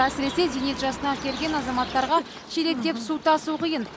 әсіресе зейнет жасына келген азаматтарға шелектеп су тасу қиын